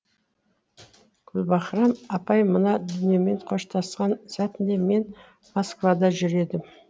гүлбаһрам апай мына дүниемен қоштасқан сәтінде мен москвада жүр едім